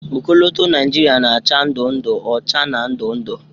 Ọkọlọtọ Naịjịrịa na-acha ndụ ndụ, ọcha, na ndụ ndụ.